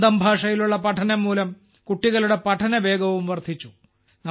സ്വന്തം ഭാഷയിലുള്ള പഠനം മൂലം കുട്ടികളുടെ പഠനവേഗവും വർധിച്ചു